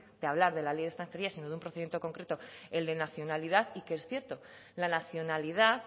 de hablar de la ley de extranjería sino de un procedimiento concreto el de nacionalidad y que es cierto la nacionalidad